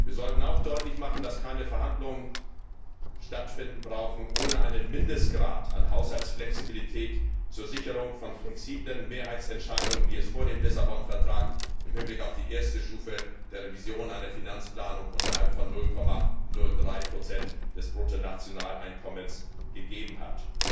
Wir sollten auch deutlich machen, dass keine Verhandlungen stattzufinden brauchen ohne einen Mindestgrad an Haushaltsflexibilität zur Sicherung von flexiblen Mehrheitsentscheidungen, wie es sie vor dem Lissabon Vertrag im Hinblick auf die erste Stufe der Revision einer Finanzplanung unterhalb von 0,03 des Bruttonationaleinkommens gegeben hat.